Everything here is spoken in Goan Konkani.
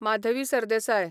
माधवी सरदेसाय